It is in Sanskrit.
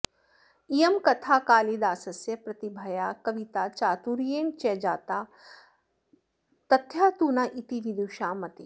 इयं कथा कालिदासस्य प्रतिभया कविताचातुर्येण च जाता तथ्या तु न इति विदुषां मतिः